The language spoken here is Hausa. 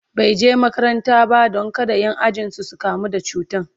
bai je makaranta ba Dan kada Ƴan ajinsu su kamu da cutan